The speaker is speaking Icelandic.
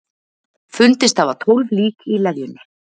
Fundist hafa tólf lík í leðjunni